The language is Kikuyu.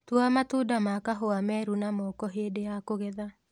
Tua matunda ma kahũa meru na moko hĩndĩ ya kũgetha